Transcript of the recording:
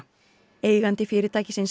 eigandi fyrirtækisins